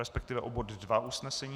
Respektive o bod 2 usnesení.